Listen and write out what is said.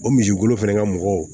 O misikolo fɛnɛ ka mɔgɔw